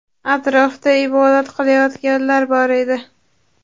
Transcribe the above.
Atrofda ibodat qilayotganlar bor edi.